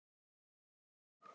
líttu í kringum þig